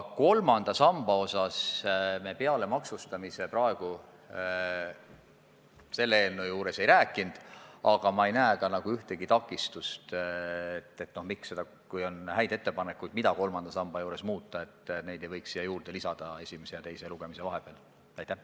Kolmanda samba osas me peale maksustamise praegu selle eelnõu raames muust ei rääkinud, aga ma ei näe ühtegi takistust, miks ei võiks häid ettepanekuid selle kohta, mida kolmanda samba juures muuta, esimese ja teise lugemise vahepeal eelnõusse lisada.